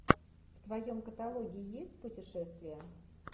в твоем каталоге есть путешествия